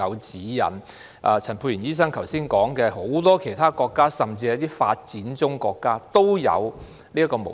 正如陳沛然醫生剛才指出，很多其他國家，甚至一些發展中國家也有採用這種模式。